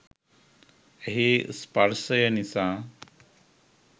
ඇහේ ස්පර්ශය නිසා